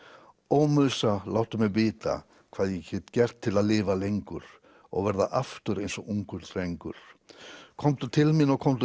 ó láttu mig vita hvað ég get gert til að lifa lengur og verða aftur eins og ungur drengur komdu til mín og komdu